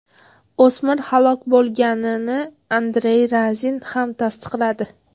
O‘smir halok bo‘lganini Andrey Razin ham tasdiqladi.